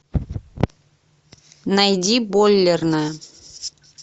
найди бойлерная